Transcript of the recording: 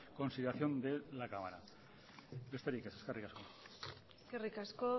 consideración de la cámara besterik ez eskerrik asko eskerrik asko